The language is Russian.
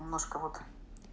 немножко вот